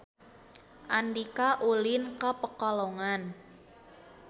Andika ulin ka Pekalongan